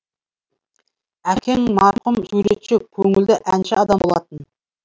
әкең марқұм суретші көңілді әнші адам болатын